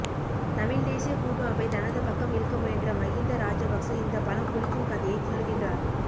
தமிழ்தேசிய கூட்டமைப்பை தனது பக்கம் இழுக்க முயன்ற மகிந்த ராஜபக்ஸ இந்த பழம் புளிக்கும் கதையை சொல்கின்றார்